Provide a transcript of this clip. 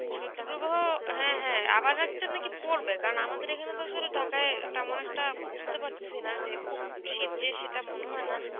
শৈত্য প্রবাহ হ্যাঁ, হ্যাঁ. আবার একটা নাকি পরবে, কারণ আমাদের এখানে তো আসলে ঢাকায় তেমন একটা বুঝতে পারতেসি না যে খুব শীত যে সেটা মনে হয় না.